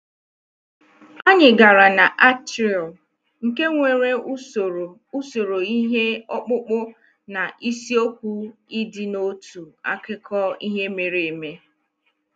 Anyị gara na atrium, nke nwere usoro usoro ihe ọkpụkpụ na isiokwu ịdị n'otu akụkọ ihe mere eme